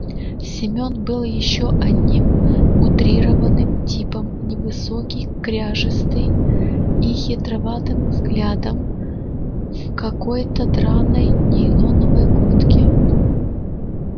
семён был ещё одним утрированным типом невысокий кряжистый и хитроватым взглядом в какой-то драной нейлоновой куртке